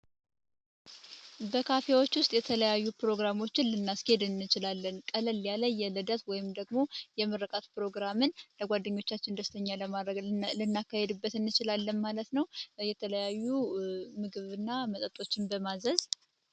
በካፌዎች ውስጥ ፕሮግራሞችን ልናስኬድ እንችላለን ቀለል ያለ የልደት ወይም ደግሞ የምርቃት ፕሮግራምን ለጓደኞቻችን ደስ ለማሰኘት ልናካሂድበት እንችላለን ማለት ነው። የተተለያዩ ምግብ እና መጠጦችን በማዘዝ።